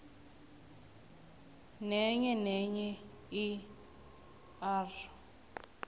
nenyenenye i r